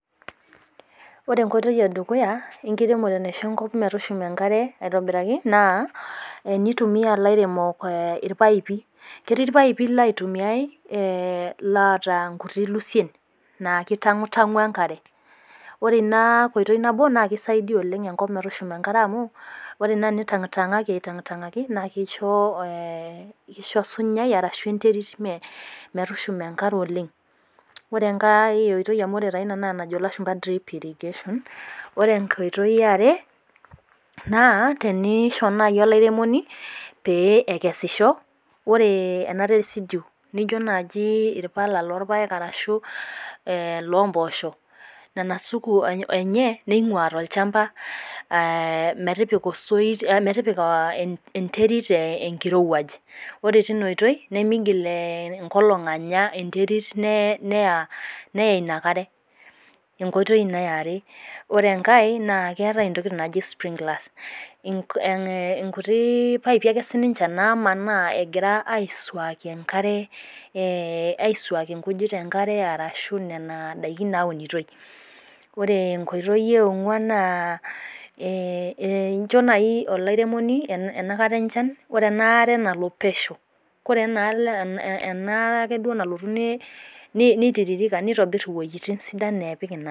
Ore enkoitoi edukuya naishoo enkop metushuma enkare aitobirakii naa enitumia ilairemok irpaipi. Keetii irpaipi loitumie loota inkutiii lusien naa kitang'u tang'u enkare. Ore ina koitoi naboo naa keisidai oleng' enkop metushuma enkare amuu ore naa tenitang'tang'aki atang' tang'aki naa kisho kisho osunyai ashu enterit metushuma enkare oleng' . Ore enkae oitoi naa ina njo ilashumba drip irrigation. Ore enkoitoi ee are naa tenisho nai elairemoni pee ekesisho ore ena residue nijo naji irpala loo irpake arashu loo mposho nena supu enye neing'ua tolchmba metipika osoit metipika enterit enkirowaj ore tina oitoi nemegil enkolong' anya enterit neya ina kare. Enkoitoi ina eare . Ore enkae naa ketaae i tokitin naji sprinklers nkutii paipii ake sii ninche namaana nagira aisuaki enkare. Aisuaki inkujit enkare arashu nena daikin naunitoi. Ore enkoitoi ee ong'uan naa incho naji olairemoni enakata enchat ore ena are nalo pesho kore enalo ena duake nalotu neitirirka nitobir iwejitin.